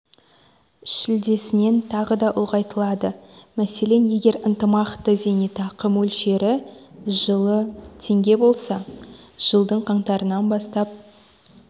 шілдесінен тағы да ұлғайтылады мәселен егер ынтымақты зейнетақы мөлшері жылы теңге болса жылдың қаңтарынан бастап